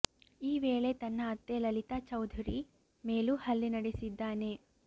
ಈ ವೇಳೆ ತನ್ನ ಅತ್ತೆ ಲಲಿತಾ ಚೌಧುರಿ ಮೇಲೂ ಹಲ್ಲೆ ನಡೆಸಿದ್ದಾನೆ